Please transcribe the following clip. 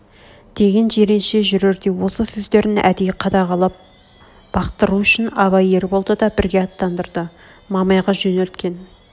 деген жиренше жүрерде осы сөздерін әдей қадағалап бақтыру үшін абай ерболды да бірге аттандырды мамайға жөнелткен